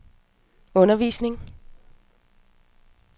undervisning